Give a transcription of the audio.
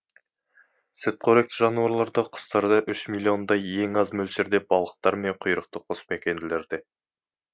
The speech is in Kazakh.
сүтқоректі жануарларда құстарда үш миллиондай ең аз мөлшерде балықтар мен құйрықты қосмекенділерде